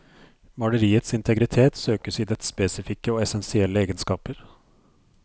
Maleriets integritet søkes i dets spesifikke og essensielle egenskaper.